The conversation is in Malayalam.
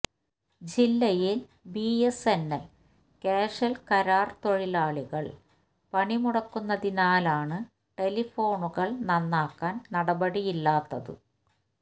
ജില്ലയില് B S N L casual കരാര് തൊഴിലാളികള് പണിമുടക്കുന്നതിനാലാണ് ടെലിഫോണുകള് നന്നാക്കാന് നടപടിയില്ലാത്തത്